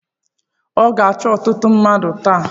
Ọ ga-achọ ọtụtụ mmadụ taa?